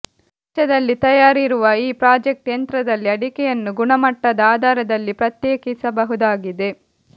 ವೆಚ್ಚದಲ್ಲಿ ತಯಾರಿರುವ ಈ ಪ್ರಾಜೆಕ್ಟ್ ಯಂತ್ರದಲ್ಲಿ ಅಡಿಕೆಯನ್ನು ಗುಣಮಟ್ಟದ ಆಧಾರದಲ್ಲಿ ಪ್ರತ್ಯೇಕಿಸಬಹುದಾಗಿದೆ